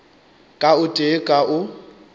ka o tee ka o